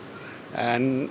en